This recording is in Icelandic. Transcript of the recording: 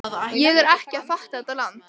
Ég er ekki að fatta þetta land.